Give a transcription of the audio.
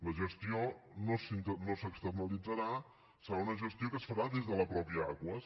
la gestió no s’externalitzarà serà una gestió que es farà des de la mateixa aquas